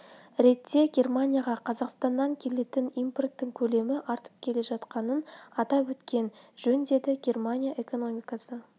ретте германияға қазақстаннан келетін импорттың көлемі артып келе жатқанын атап өткен жөн деді германия экономикасы